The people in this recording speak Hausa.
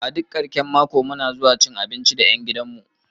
A duk karshen mako muna zuwa wajan cin abinci da ƴan gidan mu